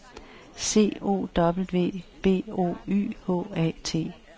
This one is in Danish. C O W B O Y H A T